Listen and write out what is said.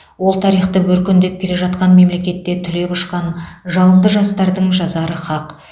ол тарихты өркендеп келе жатқан мемлекетте түлеп ұшқан жалынды жастардың жазары хақ